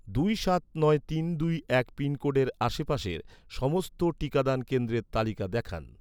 দুই সাত নয় তিন দুই এক পিনকোডের আশেপাশের, সমস্ত টিকাদান কেন্দ্রের তালিকা দেখান